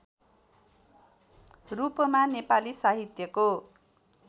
रूपमा नेपाली साहित्यको